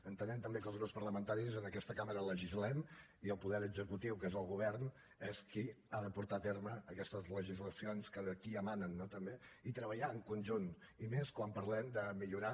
entenem també que els grups parlamentaris en aquesta cambra legislem i el poder executiu que és el govern és qui ha de portar a terme aquestes legislacions que d’aquí emanen no també i treballar en conjunt i més quan parlem de millorar